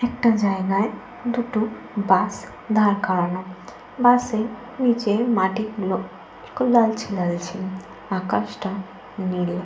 একটা জায়গায় দুটো বাস দাঁড় করানো। বাসের নিচের মাটিগুলো একটু লালচে লালচে। আকাশটা নীল।